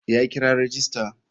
Ya kira rajista.